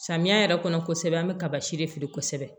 Samiya yɛrɛ kɔnɔ kosɛbɛ an bɛ kaba si de feere kosɛbɛ